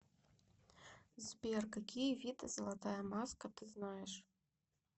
сбер какие виды золотая маска ты знаешь